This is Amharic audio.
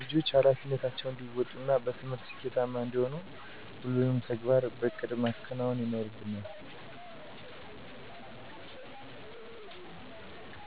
ልጆች ሀላፊነታቸውን እንዲወጡ እና በትምህርት ስኬታማ እንዲሆኑ ሁሉንም ተግባራት በእቅድ ማከናወን ይኖርባቸዋል